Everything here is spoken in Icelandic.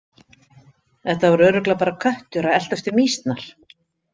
Þetta var örugglega bara köttur að eltast við mýsnar.